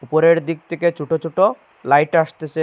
উপরের দিক থেকে ছোটো ছোটো লাইট আসতেসে।